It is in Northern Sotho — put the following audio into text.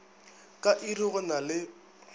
ka iri go na le